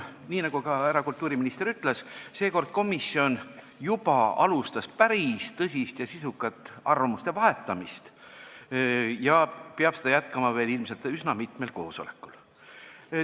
Nii nagu härra kultuuriminister ütles, komisjon juba alustas päris tõsist ja sisukat arvamuste vahetamist ja peab seda jätkama ilmselt veel üsna mitmel koosolekul.